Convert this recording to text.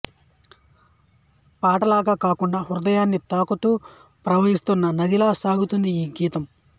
పాటలాగా కాకుండా హృదయాన్ని తాకుతూ ప్రవహిస్తున్న నదిలా సాగుతుంది ఈ గీతం